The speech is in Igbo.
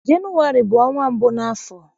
Jenụwarị bu ọnwa mbụ n'afọ.